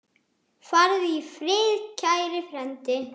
Farðu í friði, kæri frændi.